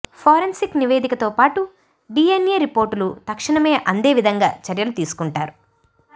forensic నివేదిక తోపాటు DNA రిపోర్టులు తక్షణమే అందేవిధంగా చర్యలు తీసుకుంటారు